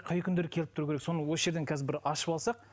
қай қай күндері келіп тұруы керек соны осы жерден қазір бір ашып алсақ